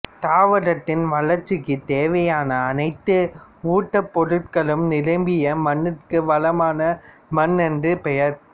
தாவரத்தின் வளர்ச்சிக்குத் தேவையான அனைத்து ஊட்டப் பொருட்களும் நிரம்பிய மண்ணிற்கு வளமான மண் என்று பெயர்